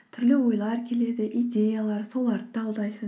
түрлі ойлар келеді идеялар соларды талдайсың